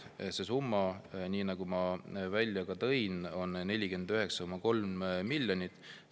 See summa, nagu ma ütlesin, on 49,3 miljonit.